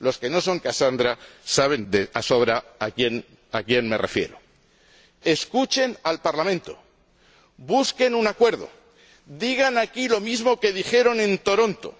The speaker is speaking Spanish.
Los que no son Casandra saben de sobra a quién me refiero. Escuchen al Parlamento, busquen un acuerdo, digan aquí lo mismo que dijeron en Toronto.